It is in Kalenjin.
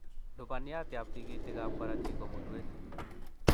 Lubaniatab tikitikab korotik ko mulwet